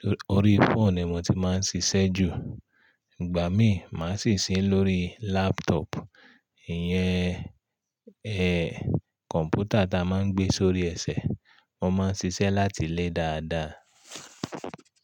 Torí ori fóònù ni mo ti máa ń ṣiṣẹ́ jù. Ìgbà mí, màá sì ń ṣe lóri lápútọ̀ọ̀pù, ìyẹn, ẹ, kọ̀ǹpútà ta máa ń gbé sórí ẹsẹ̀. Mo máa ń ṣiṣẹ́ láti lé dáadáa.